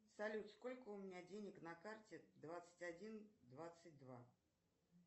салют сколько у меня денег на карте двадцать один двадцать два